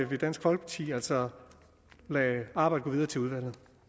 vil dansk folkeparti altså lade arbejdet gå videre til udvalget